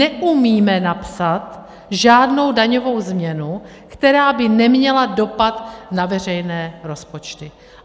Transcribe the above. Neumíme napsat žádnou daňovou změnu, která by neměla dopad na veřejné rozpočty.